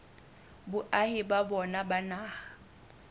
boahi ba bona ba naha